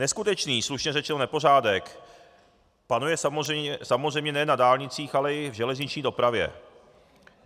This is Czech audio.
Neskutečný, slušně řečeno, nepořádek panuje samozřejmě ne na dálnicích, ale i v železniční dopravě.